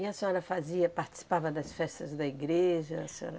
E a senhora fazia, participava das festas da igreja? A senhora